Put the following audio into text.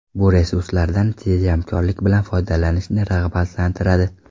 Bu resurslardan tejamkorlik bilan foydalanishni rag‘batlantiradi.